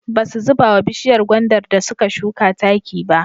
Ba su zuba wa bishiyar gwandar da suka shuka taki ba.